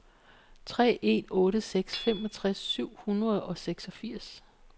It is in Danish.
tre en otte seks femogtres syv hundrede og seksogfirs